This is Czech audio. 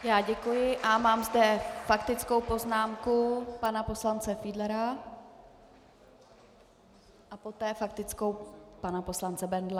Já děkuji a mám zde faktickou poznámku pana poslance Fiedlera a poté faktickou pana poslance Bendla.